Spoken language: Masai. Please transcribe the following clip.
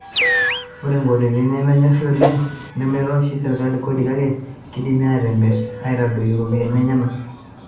Ore intokitin nemenyori oleng nemeitosh serkali kodi, kake keidimi atimir itadoyio iropiyiani enyena.